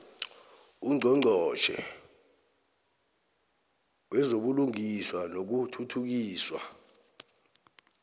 ungqongqotjhe wezobulungiswa nokuthuthukiswa